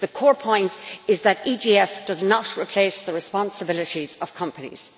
The core point is that the EGF does not replace the responsibilities of companies